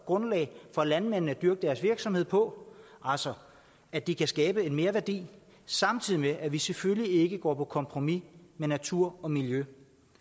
grundlag for landmændene at bygge deres virksomhed på altså at de kan skabe en merværdi samtidig med at man selvfølgelig ikke går på kompromis med natur og miljø